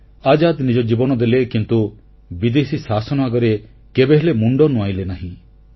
ଆଜାଦ ନିଜ ଜୀବନ ଦେଲେ କିନ୍ତୁ ବିଦେଶୀ ଶାସନ ଆଗରେ କେବେହେଲେ ମୁଣ୍ଡ ନୁଆଁଇଲେ ନାହିଁ